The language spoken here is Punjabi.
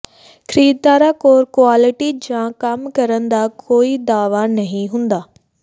ਖਰੀਦਦਾਰਾਂ ਕੋਲ ਕੁਆਲਟੀ ਜਾਂ ਕੰਮ ਕਰਨ ਦਾ ਕੋਈ ਦਾਅਵਾ ਨਹੀਂ ਹੁੰਦਾ